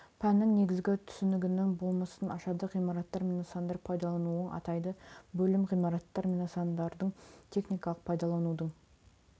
пәннің негізгі түсінігінің болмысын ашады ғимараттар мен нысандар пайдалануын атайды бөлім ғимараттар мен нысандардың техникалық пайдаланудың